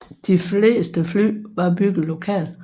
De fleste fly var bygget lokalt